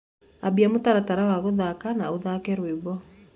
ambĩa mũtaratara wa guthaka na ũthake rwĩmbo